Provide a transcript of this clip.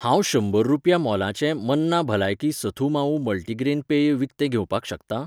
हांव शंबर रुपया मोलाचें मन्ना भलायकी सथु मावू मल्टीग्रेन पेय विकतें घेवपाक शकता?